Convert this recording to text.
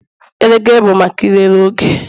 Elekere bụ maka ịlele oge